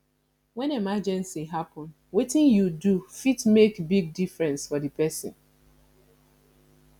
when emergency happen wetin yu do fit mek big difference for di pesin